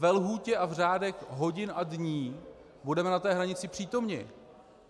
Ve lhůtě a v řádech hodin a dní budeme na té hranici přítomni.